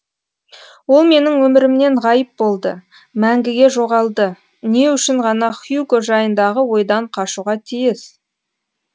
ол менің өмірімнен ғайып болды мәңгіге жоғалды не үшін ғана хьюго жайындағы ойдан қашуға тиіс